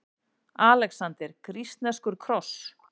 ALEXANDER: Grísk-rússneskur kross!